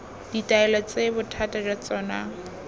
ditaelo tse bothata jwa tsona